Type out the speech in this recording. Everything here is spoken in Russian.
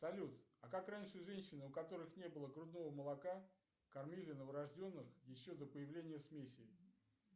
салют а как раньше женщины у которых не было грудного молока кормили новорожденных еще до появления смесей